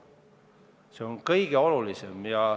See on kõige olulisem.